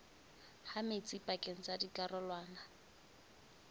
ha metsi pakeng tsa dikarolwana